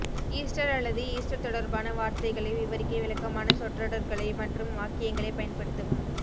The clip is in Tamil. ஈஸ்டர் அல்லது ஈஸ்டர் தொடர்பான வார்த்தைகளை விவரிக்க விளக்கமான சொற்றொடர்களை மற்றும் வாக்கியங்களைப் பயன்படுத்தவும்